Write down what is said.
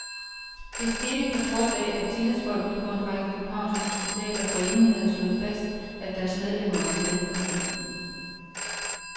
Det skete på trods af, at tillidsfolkene på en række københavnske hospitaler forinden havde slået fast, at deres medlemmer vil med i konflikten.